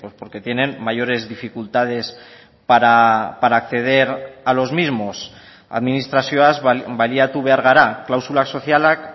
porque tienen mayores dificultades para acceder a los mismos administrazioaz baliatu behar gara klausula sozialak